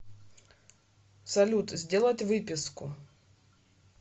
салют сделать выписку